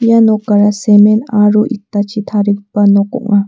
ia nokara semen aro itachi tarigipa nok ong·a.